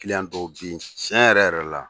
dɔn bɛ yen tiɲɛ yɛrɛ yɛrɛ la